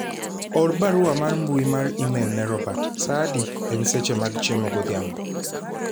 or barua mar mbui mar email ne Robert saa adi ,en seche mag chiemo godhiambo